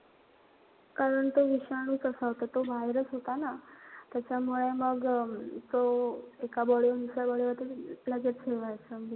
कारण तो विषाणू तसा होता तो virus होता ना. त्याच्यामुळे मग तो एका body हुन दुसऱ्या body वर. लगेच हे व्हायचा.